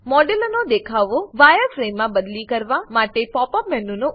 મોડેલનો દેખાવ વાયરફ્રેમમાં બદલી કરવા માટે પોપ અપ મેનુનો ઉપયોગ કરો